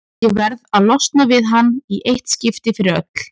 Ég verð að losna við hann í eitt skipti fyrir öll.